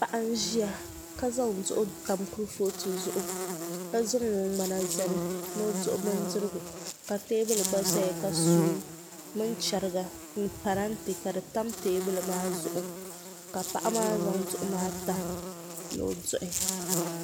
Paɣa n ʒiya ka zaŋ duɣu tam kurifooti zuɣu ka zaŋ o ŋmana zali ni o duɣu bindirigu ka teebuli gba ʒɛya ka suu mini chɛriga ni parantɛ ka di tam teebuli maa zuɣu ka paɣa maa zaŋ duɣu maa tam ni o dui